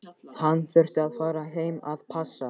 Hann þurfti að fara heim að passa.